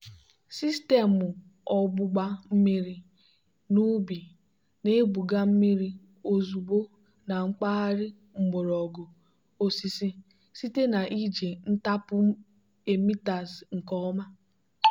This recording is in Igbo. sistemụ ogbugba mmiri n'ubi na-ebuga mmiri ozugbo na mpaghara mgbọrọgwụ osisi site na iji ntapu emitters nke ọma.